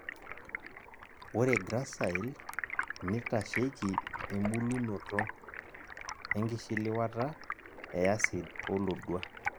Ore GRACILE nitasheiki ebulunoto,e nkishiliwata,e acid, olodua